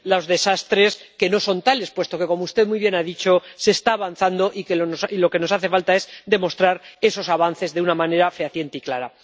desastres que no son tales, puesto que, como usted muy bien ha dicho, se está avanzando y lo que nos hace falta es demostrar esos avances de una manera fehaciente y clara.